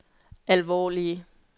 alvorlige